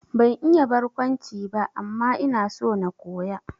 Ban iya barkwanci ba, amma ina so na koya